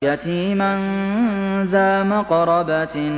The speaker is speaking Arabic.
يَتِيمًا ذَا مَقْرَبَةٍ